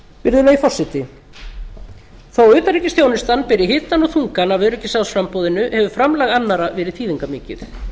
virðulegi forseti þó utanríkisþjónustan beri hitann og þungann af öryggisráðsframboðinu hefur framlag annarra verið þýðingarmikið